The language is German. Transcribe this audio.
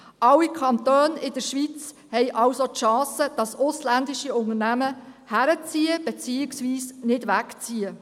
Alle Kantone in der Schweiz haben also die Chance, dass ausländische Unternehmen zuziehen beziehungsweise nicht wegziehen.